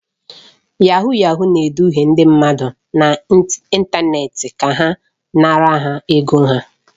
Yahuu yahuu na-eduhie ndị mmadụ n'ịntanetị ka ha nara ha ego ha